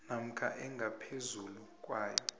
namkha engaphezulu kwayo